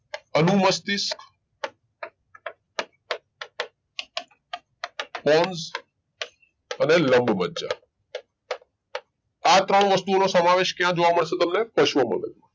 અનુમસ્તિષ્ક pons અને લંબમજ્જા આ ત્રણ વસ્તુ ઓ નો સમાવેશ ક્યાં જોવા મળશે તમને? પશ્વ મગજ માં